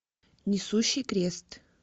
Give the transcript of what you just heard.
несущий крест